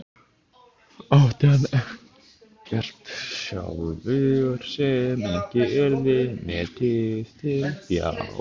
Átti hann ekkert sjálfur sem ekki yrði metið til fjár?